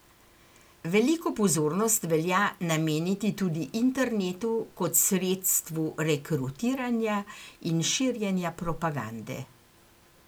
Veliko pozornost velja nameniti tudi internetu kot sredstvu rekrutiranja in širjenja propagande.